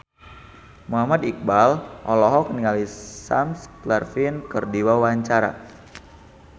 Muhammad Iqbal olohok ningali Sam Claflin keur diwawancara